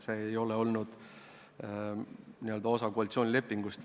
See ei ole olnud n-ö osa koalitsioonilepingust.